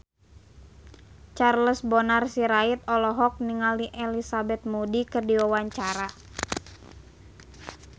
Charles Bonar Sirait olohok ningali Elizabeth Moody keur diwawancara